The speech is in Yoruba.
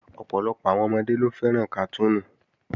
Ọ̀pọ̀lọpọ̀ àwọn ọmọdé ló fẹ́ràn kàtúùnù